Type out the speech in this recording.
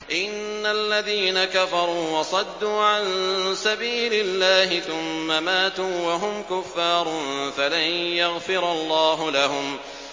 إِنَّ الَّذِينَ كَفَرُوا وَصَدُّوا عَن سَبِيلِ اللَّهِ ثُمَّ مَاتُوا وَهُمْ كُفَّارٌ فَلَن يَغْفِرَ اللَّهُ لَهُمْ